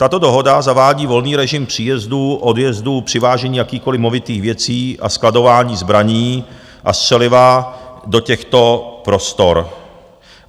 Tato dohoda zavádí volný režim příjezdů, odjezdů, přivážení jakýchkoliv movitých věcí a skladování zbraní a střeliva do těchto prostor.